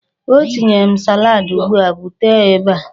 Ọ tinyere m salaadi ugbu a. Bute ya ebe a!